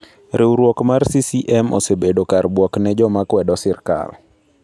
Riwruok mar CCM osebedo kar buok ne joma kwedo sirkal.